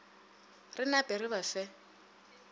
re nape re ba fe